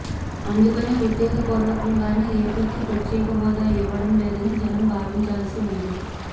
అందుకనే ఉద్దేశ పూర్వకంగానే ఎపికి ప్రత్యేక హోదా ఇవ్వడం లేదని జనం భావించాల్సి ఉంది